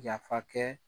Yafa kɛ